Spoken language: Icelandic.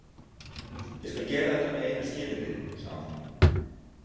Ég skal gera þetta með einu skilyrði, sagði hún.